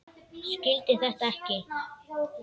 Skildi þetta ekki.